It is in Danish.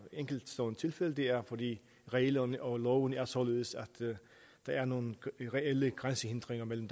enkeltstående tilfælde det er fordi reglerne og lovene er således at der er nogle reelle grænsehindringer mellem